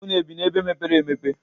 Unu ebị n'ebe mepere emepe?